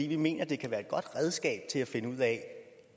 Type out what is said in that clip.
vi mener det kan være et godt redskab til at finde ud af